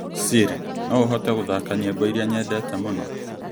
siri no ũhote gũthaka nyĩmbo iria nyendete mũno.